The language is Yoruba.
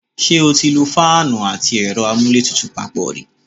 Ṣé o ti lo fáánù àti ẹ̀rọ amúlétutù papọ̀ rí?